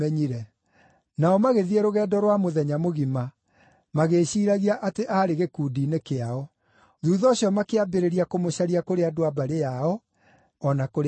Nao magĩthiĩ rũgendo rwa mũthenya mũgima, magĩĩciiragia atĩ aarĩ gĩkundi-inĩ kĩao. Thuutha ũcio makĩambĩrĩria kũmũcaria kũrĩ andũ a mbarĩ yao o na kũrĩ arata.